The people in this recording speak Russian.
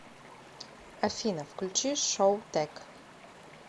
афина включи шоутэк